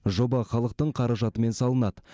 жоба халықтың қаражатымен салынады